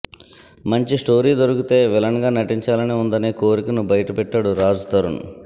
మంచి స్టోరీ దొరికితే విలన్ గా నటించాలని ఉందనే కోరికను బయటపెట్టాడు రాజ్ తరుణ్